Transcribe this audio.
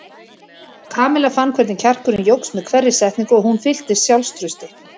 Kamilla fann hvernig kjarkurinn jókst með hverri setningu og hún fylltist sjálfstrausti.